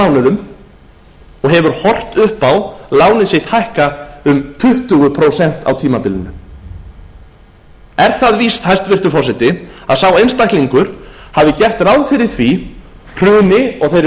mánuðum og hefur horft upp á lánið sitt hækka um tuttugu prósent á tímabilinu er á víst hæstvirtur forseti að sá einstaklingur hafi gert ráð fyrir því hruni og þeirri